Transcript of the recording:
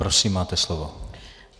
Prosím, máte slovo.